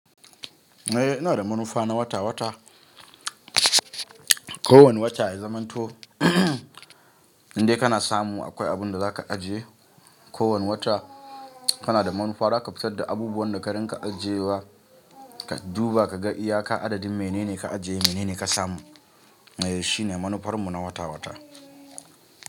Eh, ina da manufa na wata-wata. Ko wani wata ya zamanto indai kana samu akwai abin da za ka ajiye. Ko wani wata kana da manufa za ka fitar da abubuwan da ka rinka ajiye wa, ka duba ka ga iyaka adadin menene ka ajiye menene ka samu. Eh shine manufar mu na wata-wata.